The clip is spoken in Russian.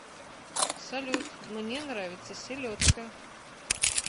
салют мне нравится селедка